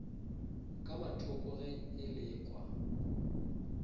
ka mathoko ge e lekwa